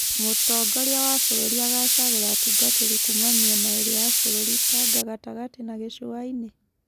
Mũtongoria wa bũrũri agacagũra atungatĩri kuuma mĩena ĩrĩ ya bũrũri, Tanga gatagatĩ na gĩcũaĩnĩ.